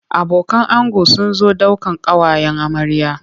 Abokan ango sun zo daukan ƙawayen amarya.